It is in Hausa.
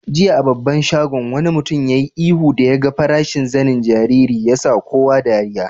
Jiya a babban shagon, wani mutum ya yi ihu da ya gan farashin zanen jariri. Ya sa kowa dariyya.